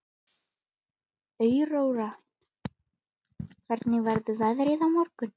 Aurora, hvernig verður veðrið á morgun?